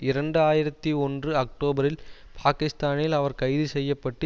இரண்டு ஆயிரத்தி ஒன்று அக்டோபரில் பாகிஸ்தானில் அவர் கைது செய்ய பட்டு